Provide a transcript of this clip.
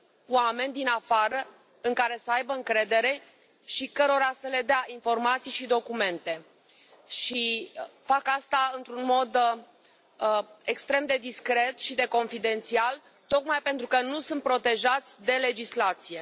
oameni din afară în care să aibă încredere și cărora să le dea informații și documente și fac asta într un mod extrem de discret și de confidențial tocmai pentru că nu sunt protejați de legislație.